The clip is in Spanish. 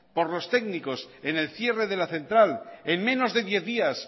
por los técnicos en el cierre de la central en menos de diez días